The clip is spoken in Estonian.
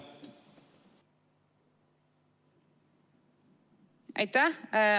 Aitäh!